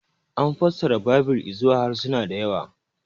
An fassara Baibil izuwa harsuna da yawa.